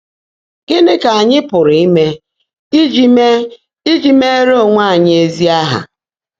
Gị́ní kà ányị́ pụ́rụ́ íme íjí íme íjí meèré óńwé ányị́ ézí áhá?